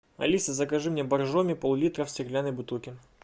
алиса закажи мне боржоми поллитра в стеклянной бутылке